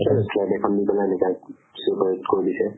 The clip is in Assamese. slab এখন দি ফালে এনেকা separate কৰি দিছে।